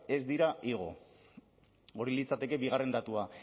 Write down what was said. ez dira igo hori litzateke bigarren datua